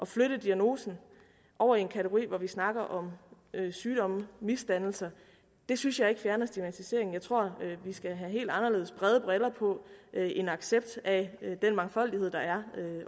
flytte diagnosen over i en kategori hvor vi snakker om sygdomme misdannelser synes jeg ikke fjerner stigmatiseringen jeg tror vi skal have helt anderledes brede briller på have en accept af den mangfoldighed der er